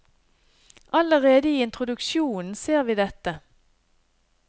Allerede i introduksjonen ser vi dette.